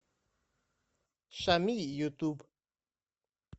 шами ютуб